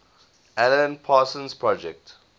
alan parsons project